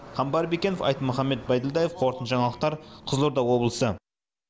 қамбар бекенов айтмұхамбет бәйділдаев қорытынды жаңалықтар қызылорда облысы